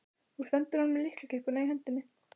Nú stendur hann með lyklakippuna í hendinni.